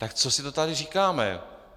Tak co si to tady říkáme?